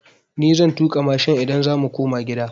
Ni zan tuƙa mashin idan za mu koma gida.